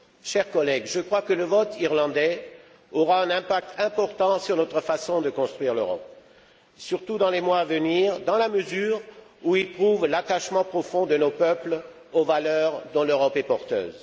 Chers collègues, je crois que le vote irlandais aura un impact important sur notre façon de construire l'Europe, surtout dans les mois à venir, dans la mesure où il prouve l'attachement profond de nos peuples aux valeurs dont l'Europe est porteuse.